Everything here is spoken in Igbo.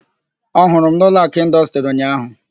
Ọ hụrụ m n' Ụlọakụ Ịndọstrị ụnyaahụ?